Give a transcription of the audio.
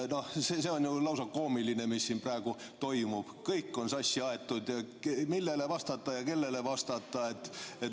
See on ju lausa koomiline, mis siin praegu toimub – kõik on sassi aetud, millele vastata ja kellele vastata.